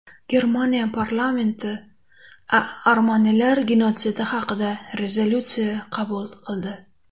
Germaniya parlamenti armanilar genotsidi haqida rezolyutsiya qabul qildi .